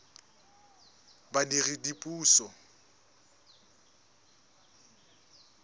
badiredipuso